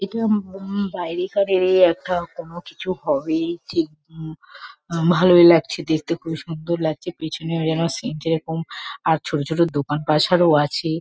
এটা উম উম বাইরেকারেরই একটা কোনো কিছু হবে। ঠিক উম ভালোই লাগছে দেখতে খুবই সুন্দর লাগছে। পেছনের যেন সিন -টা যেরকম আর ছোট ছোট দোকান পাসারও আছে।